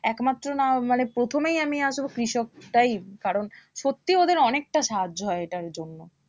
একমাত্র না মানে প্রথমেই আমি আসবো কৃষকটাই কারণ সত্যি ওদের অনেকটা সাহায্য হয় এটার জন্য